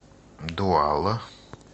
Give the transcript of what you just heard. дуала